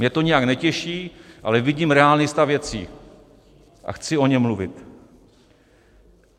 Mě to nijak netěší, ale vidím reálný stav věcí a chci o něm mluvit.